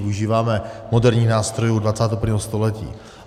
Využíváme moderních nástrojů 21. století.